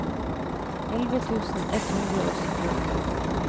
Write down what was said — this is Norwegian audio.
elleve tusen ett hundre og syttiåtte